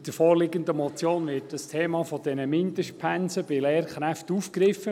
Mit der vorliegenden Motion wird das Thema der Mindestpensen bei Lehrkräften aufgegriffen.